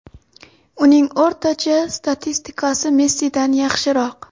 Uning o‘rtacha statistikasi Messidan yaxshiroq.